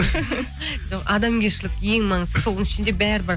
жоқ адамгершілік ең маңыздысы соның ішінде бәрі бар